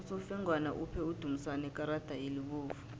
usofengwana uphe udumisani ikarada elibovu